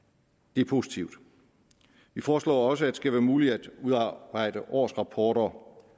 det er positivt vi foreslår også at det skal være muligt at udarbejde årsrapporter